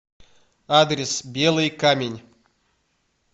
адрес белый камень